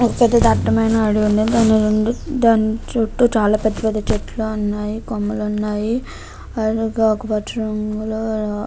ఒక పెద్ద దట్టమైన అడవి దాని చుట్టూ చాలా పెద్ద పెద్ద చెట్లు ఉన్నాయి. కొమ్మలు ఉన్నాయి. అలాగే ఆకు పచ్చ రంగులో --